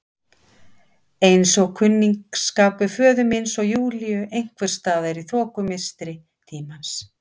Eins og kunningsskapur föður míns og Júlíu einhvers staðar í þokumistri tímans.